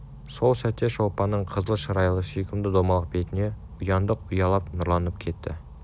сол сәтте шолпанның қызыл шырайлы сүйкімді домалақ бетіне ұяңдық ұялап нұрланып кетті